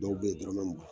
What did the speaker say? Dɔw bɛ ye dɔrɔmɛ mugan b